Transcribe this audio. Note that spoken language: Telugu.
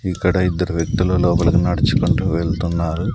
ఇక్కడ ఇద్దరు వ్యక్తులు లోపలికి నడుచుకుంటూ వెళ్తున్నారు.